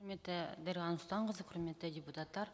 дариға нұрсұлтанқызы құрметті депутаттар